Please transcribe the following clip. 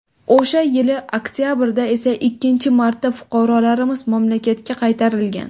O‘sha yili oktabrda esa ikkinchi marta fuqarolarimiz mamlakatga qaytarilgan.